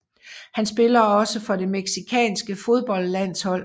Han spiller også for det mexicanske fodboldlandshold